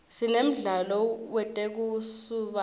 sinemdlalo wetekusubatsa